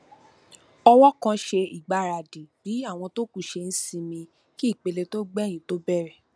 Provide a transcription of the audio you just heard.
ọwọ kan ṣe ìgbaradì bí àwọn tó kù ṣe n sinmi kí ìpele tó gbẹyìn tó bẹrẹ